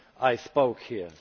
I spoke here.